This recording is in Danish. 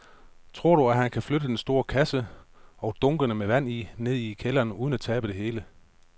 Tror du, at han kan flytte den store kasse og dunkene med vand ned i kælderen uden at tabe det hele?